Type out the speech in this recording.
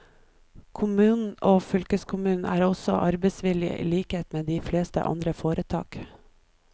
Kommunen og fylkeskommunen er også arbeidsgiver i likhet med de fleste andre foretak.